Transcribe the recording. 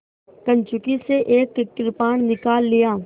कंचुकी से एक कृपाण निकाल लिया